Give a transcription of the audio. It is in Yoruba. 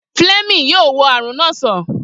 Fleming yóò wo àrùn na sàn